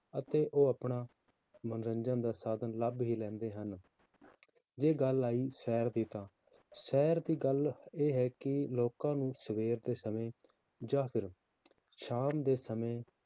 ਅਤੇ ਉਹ ਆਪਣਾ ਮਨੋਰੰਜਨ ਦਾ ਸਾਧਨ ਲੱਭ ਹੀ ਲੈਂਦੇ ਹਨ ਜੇ ਗੱਲ ਆਈ ਸੈਰ ਦੀ ਤਾਂ ਸੈਰ ਦੀ ਗੱਲ ਇਹ ਹੈ ਕਿ ਲੋਕਾਂ ਨੂੰ ਸਵੇਰ ਦੇ ਸਮੇਂ ਜਾਂ ਫਿਰ ਸ਼ਾਮ ਦੇ ਸਮੇਂ